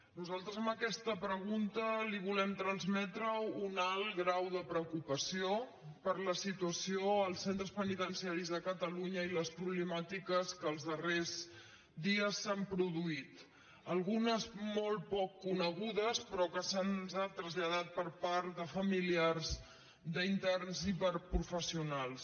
nosaltres amb aquesta pre·gunta li volem transmetre un alt grau de preocupació per la situació als centres penitenciaris de catalunya i les problemàtiques que els darrers dies s’han produït algunes molt poc conegudes però que se’ns han traslla·dat per part de familiars d’interns i per professionals